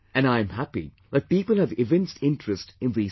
And I am happy that people have evinced interest in these things